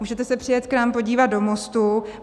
Můžete se přijet k nám podívat do Mostu.